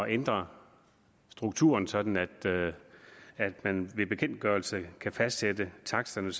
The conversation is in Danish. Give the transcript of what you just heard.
ændre strukturen sådan at man ved bekendtgørelse kan fastsætte taksterne